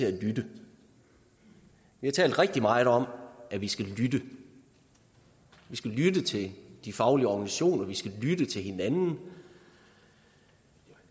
at lytte vi har talt rigtig meget om at vi skal lytte vi skal lytte til de faglige organisationer og lytte til hinanden